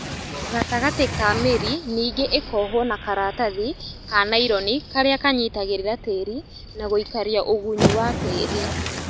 gatagatĩ ka mĩri nĩngĩ ĩkohwo na karatathi kanaironi karĩa kanyitagĩrĩra tĩri na gũikaria ũgunyu wa tĩri